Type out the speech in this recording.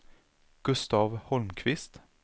Gustaf Holmqvist